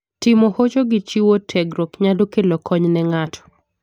Timo hocho gi chiwo tiegruok nyalo kelo kony ne ng'ato.